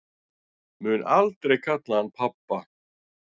Mun aldrei kalla hann pabba